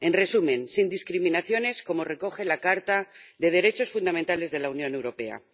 en resumen, sin discriminaciones, como recoge la Carta de los Derechos Fundamentales de la Unión Europea.